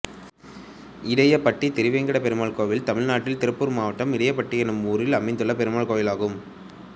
இடையபட்டி திருவேங்கடபெருமாள் கோயில் தமிழ்நாட்டில் திருப்பூர் மாவட்டம் இடையபட்டி என்னும் ஊரில் அமைந்துள்ள பெருமாள் கோயிலாகும்